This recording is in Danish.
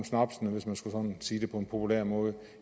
snapsene hvis man skulle sige det på en populær måde